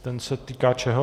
Ten se týká čeho?